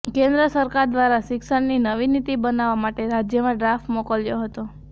કેન્દ્ર સરકાર દ્વારા શિક્ષણની નવી નીતિ બનાવવા માટે રાજ્યમાં ડ્રાફ્ટ મોકલ્યો હતો